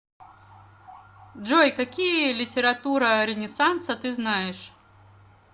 джой какие литература ренессанса ты знаешь